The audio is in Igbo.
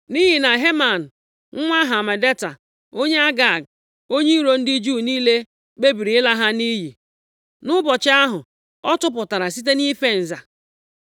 nʼihi na Heman nwa Hamedata, onye Agag, onye iro ndị Juu niile, kpebiri ịla ha nʼiyi nʼụbọchị ahụ ọ tụpụtara site nʼife nza.